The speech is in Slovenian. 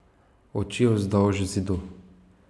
Oči vzdolž Zidu.